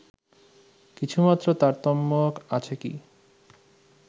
কিছুমাত্র তারতম্য আছে কি